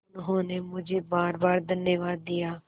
उन्होंने मुझे बारबार धन्यवाद दिया